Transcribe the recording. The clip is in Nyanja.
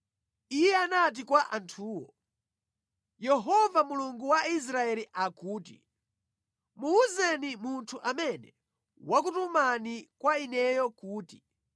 Iye anati kwa anthuwo, “Yehova Mulungu wa Israeli akuti, muwuzeni munthu amene wakutumani kwa ineyo kuti,